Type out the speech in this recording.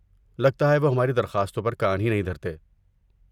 لگتا ہے وہ ہماری درخواستوں پر کان ہی نہیں دھرتے۔